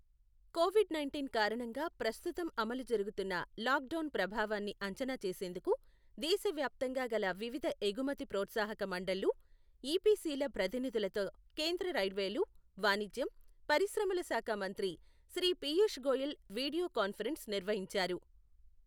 Covid nineteen కారణంగా ప్రస్తుతం అమలు జరుగుతున్న లాక్ డౌన్ ప్రభావాన్ని అంచనా చేసేందుకు దేశవ్యాప్తంగా గల వివిధ ఎగుమతి ప్రోత్సాహఖ మండళ్లు ఇపిసిల ప్రతినిధులతో కేంద్ర రైల్వేలు, వాణిజ్యం, పరిశ్రమల శాఖ మంత్రి శ్రీ పియూష్ గోయల్ వీడియో కాన్ఫరెన్స్ నిర్వహించారు.